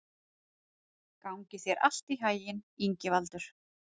Gangi þér allt í haginn, Ingivaldur.